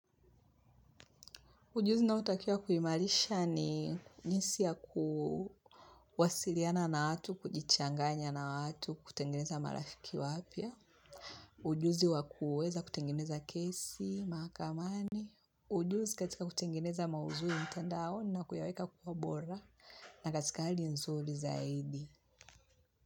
Ujuzi naotakia kuimarisha ni jinsi ya kuwasiliana na watu, kujichanganya na watu, kutengeneza marafiki wapya. Ujuzi wa kuweza kutengeneza kesi mahakamani. Ujuzi katika kutengeneza maudhui mtandaoni na kuyaweka kuwa bora na katika hali nzuri zaidi.